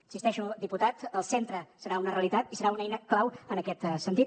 hi insisteixo diputat el centre serà una realitat i serà una eina clau en aquest sentit